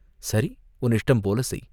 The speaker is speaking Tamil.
"சரி, உன் இஷ்டம் போல செய்!